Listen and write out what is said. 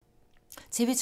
TV 2